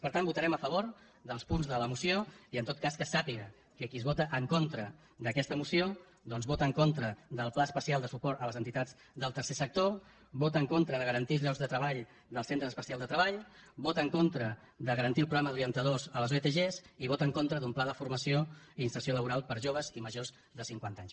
per tant votarem a favor dels punts de la moció i en tot cas que es sàpiga que qui vota en contra d’aquesta moció doncs vota en contra del pla especial de suport a les entitats del tercer sector vota en contra de garantir els llocs de treball dels centres especials de treball vota en contra de garantir el programa d’orientadors a les otg i vota en contra d’un pla de formació i inserció laboral per a joves i majors de cinquanta anys